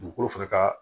Dugukolo fɛnɛ ka